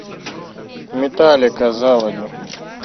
металлика заводи